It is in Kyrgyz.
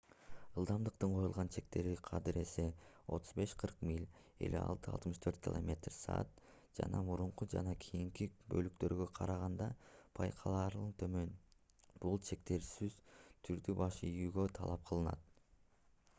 ылдамдыктын коюлган чектери кадыресе — 35–40 миль 56–64 км/с жана мурунку жана кийинки бөлүктөргө караганда байкалаарлык төмөн. бул чектергесөзсүз түрдө баш ийүү талап кылынат